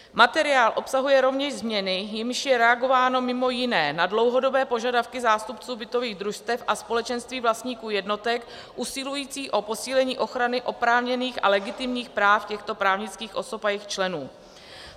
Materiál obsahuje rovněž změny, jimiž je reagováno mimo jiné na dlouhodobé požadavky zástupců bytových družstev a společenství vlastníků jednotek usilující o posílení ochrany oprávněných a legitimních práv těchto právnických osob a jejich členů.